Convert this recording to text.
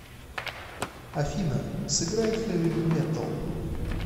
афина сыграй хэви металл